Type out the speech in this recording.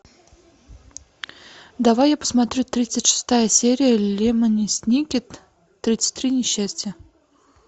давай я посмотрю тридцать шестая серия лемони сникет тридцать три несчастья